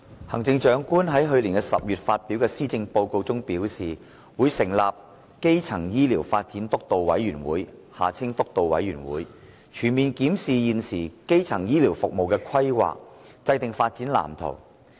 行政長官在去年10月發表的《施政報告》中表示，會成立基層醫療發展督導委員會，全面檢視現時基層醫療服務的規劃，制訂發展藍圖。